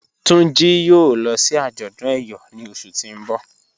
Tunji yòò lọ sí àjọdún ẹ̀yọ̀ ní ọṣù tí n bọ̀.